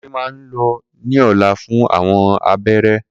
Kunle máa lọ ní ọ̀la fún àwọn abẹ́rẹ́